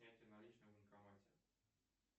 снятие наличных в банкомате